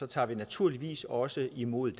tager vi naturligvis også imod